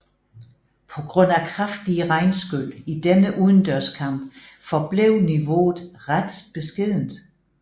På grund af kraftige regnskyl i denne udendørskamp forblev niveauet ret beskedent